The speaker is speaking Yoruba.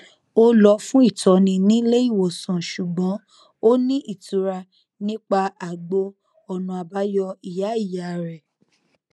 ó lọ fún ìtọni nílé ìwòsàn ṣùgbọn ó ní ìtura nípa àgbo ọnà àbáyọ ìyá ìyá rẹ